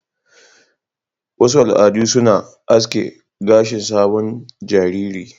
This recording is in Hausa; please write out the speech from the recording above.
Wasu al'adu suna asking gashin sabon jariri.